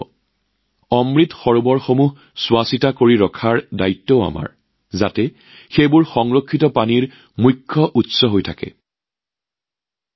এতিয়া অমৃত সৰোৱৰ যতেই নিৰ্মাণ কৰা হৈছে তাতেই যাতে নিয়মিতভাৱে চোৱাচিতা কৰা উচিত যাতে পানী সংৰক্ষণৰ মূল উৎস হৈয়েই থাকে সেয়া আমাৰ দায়িত্ব